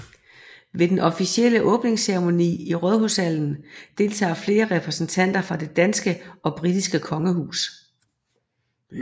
Ved den officielle åbningsceremoni i Rådhushallen deltager flere repræsentanter fra det danske og britiske kongehus